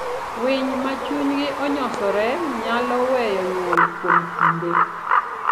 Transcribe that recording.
Winy ma chunygi onyosore nyalo weyo nyuol kuom kinde.